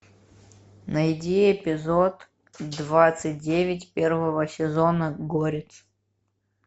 найди эпизод двадцать девять первого сезона горец